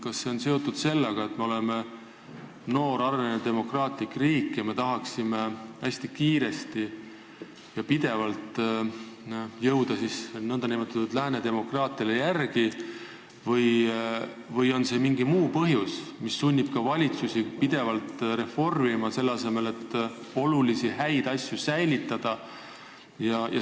Kas see on seotud sellega, et me oleme noor ja arenev demokraatlik riik ning tahame hästi kiiresti jõuda nn Lääne demokraatiatele järele, või on mingi muu põhjus, mis sunnib ka valitsusi pidevalt reformima, selle asemel et olulisi häid asju säilitada?